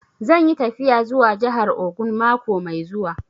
Zan yi tafiya zuwa jahar Ogun mako mai zuwa